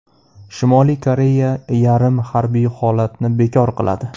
Shimoliy Koreya yarim harbiy holatni bekor qiladi.